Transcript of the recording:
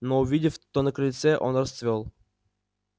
но увидев кто на крыльце он расцвёл